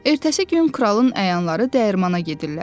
Ertəsi gün kralın əyanları dəyirmana gedirlər.